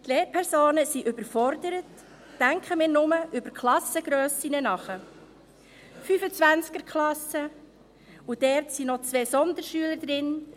Die Lehrpersonen sind überfordert, denken wir nur über die Klassengrössen nach – 25er-Klassen und dort sind noch zwei Sonderschüler drin: